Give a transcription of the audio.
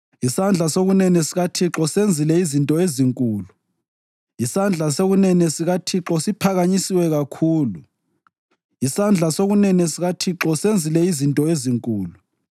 Isandla sokunene sikaThixo siphakanyisiwe kakhulu; isandla sokunene sikaThixo senzile izinto ezinkulu!”